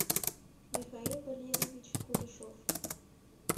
михаил валерьевич кулешов